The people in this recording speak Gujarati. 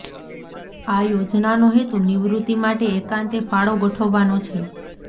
આ યોજનાનો હેતુ નિવૃત્તિ માટે એકાંતે ફાળો ગોઠવવાનો છે